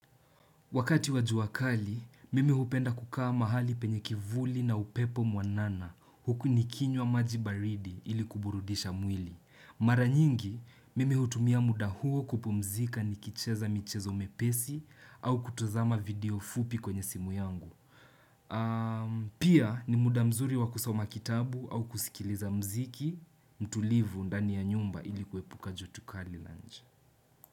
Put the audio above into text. Wakati wa jua kali, mimi hupenda kukaa mahali penye kivuli na upepo mwanana huku nikinywa maji baridi ili kuburudisha mwili. Mara nyingi, mimi hutumia muda huo kupumzika nikicheza michezo miepesi au kutazama video fupi kwenye simu yangu. Pia ni muda mzuri wa kusoma kitabu au kuskiliza mziki, mtulivu ndani ya nyumba ili kuepuka joto kali la nje.